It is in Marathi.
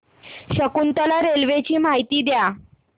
शकुंतला रेल्वे ची माहिती द्या